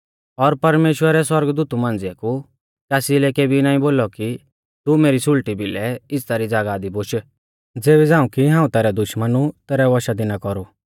और परमेश्‍वरै सौरगदूतु मांझ़िऐ कु कासी लै केबी नाईं बोलौ कि तू मेरी सुल़टी भिलै इज़्ज़ता री ज़ागाह दी बोश ज़ेबी झ़ांऊ कि हाऊं तैरै दुश्मनु तैरै वशा दी ना कौरु